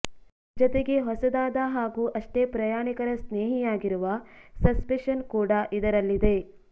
ಜತೆಗೆ ಹೊಸದಾದ ಹಾಗೂ ಅಷ್ಟೇ ಪ್ರಯಾಣಿಕರ ಸ್ನೇಹಿಯಾಗಿರುವ ಸಸ್ಪೆಷನ್ ಕೂಡಾ ಇದರಲ್ಲಿದೆ